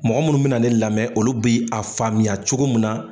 Mɔgɔ munnu bina ne lamɛn olu bi a faamuya cogo min na